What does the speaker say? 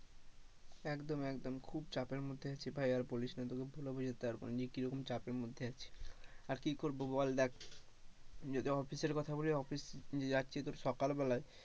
একদম একদম, খুব চাপের মধ্যে আছে ভাইয়ার বলিস না তোকে বলে বোঝাতে পারবোনা যে কিরকম চাপের মধ্যে আছি, আর কি করবো বল দেখ, যদি অফিসের কথা বলে অফিস যে যাচ্ছি সকাল বেলায়,